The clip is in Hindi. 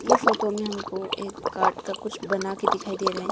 ऐ फोटो हमको एक काट का कुछ बना के दिखाई दे रहे हैं।